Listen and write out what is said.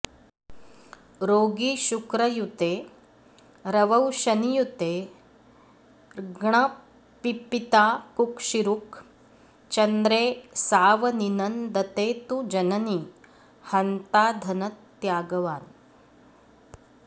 रोगी शुक्रयुते रवौ शनियुतेर्ग्णः पिता कुक्षिरुक् चन्द्रे सावनिनन्दने तु जननीहन्ता धनत्यागवान्